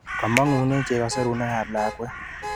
Kamang'une cheko serunekab lakwet.